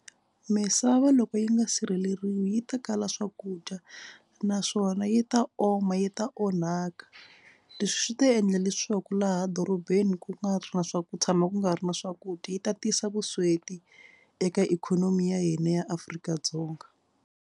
Misava loko yi nga sireleriwi yi ta kala swakudya naswona yi ta oma yi ta onhaka. Leswi swi ta endla leswaku laha dorobeni ku nga ri na swa ku tshama ku nga ri na swakudya yi ta tisa vusweti eka ikhonomi ya hina ya Afrika-Dzonga.